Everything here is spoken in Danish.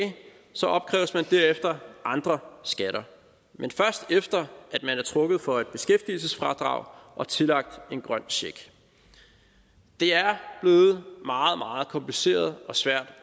opkræves man derefter andre skatter men først efter man er trukket for et beskæftigelsesfradrag og tillagt en grøn check det er blevet meget meget kompliceret og svært